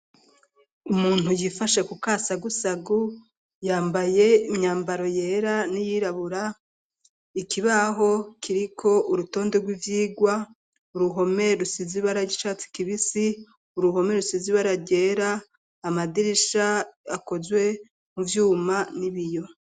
Umuntu yifashe ku kasagusagu yambaye imyambaro yera n'iyirabura ikibaho kiriko urutonde rw'ivyigwa uruhome rusizi ibara ryicatsi kibisi uruhome rusizi ibara ryera amadirisha akozwe mu vyuma n'ibiyo.